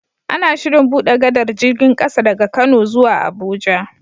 Ana Shirin buɗe gadar jirgin ƙasa daga kano zuwa abuja